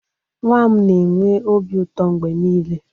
Nwa m na-enwe obi ụtọ mgbe niile